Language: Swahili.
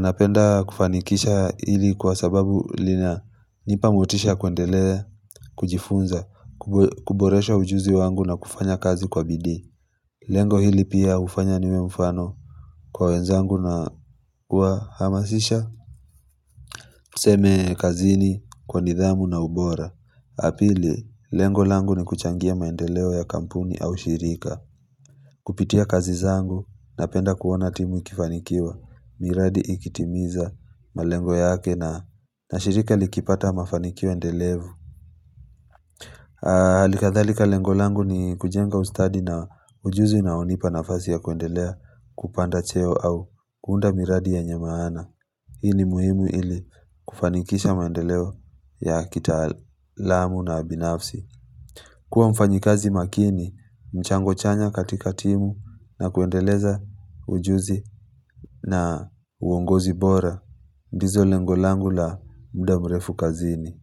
Napenda kufanikisha hili kwa sababu lina nipamotisha kwendelea kujifunza kuboresha ujuzi wangu na kufanya kazi kwa bidii Lengo hili pia hufanya niwe mfano kwa wenzangu na kuhamasisha Seme kazini kwa nidhamu na ubora pili, lengolangu ni kuchangia maendeleo ya kampuni au shirika Kupitia kazi zangu na penda kuona timu ikifanikiwa miradi ikitimiza malengo yake na shirika likipata mafanikio ndelevu Alikadhalika lengolangu ni kujenga ustadi na ujuzi una onipa nafasi ya kuendelea kupanda cheo au kunda miradi yenye maana Hii ni muhimu ili kufanikisha maendeleo ya kita alamu na binafsi. Kuwa mfanyikazi makini, mchango chanya katika timu na kuendeleza ujuzi na uongozi bora. Ndizo lengolangu la mudamrefu kazini.